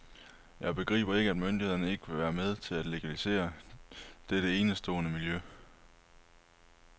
Jeg begriber ikke, at myndighederne ikke vil være med til at legalisere dette enestående miljø.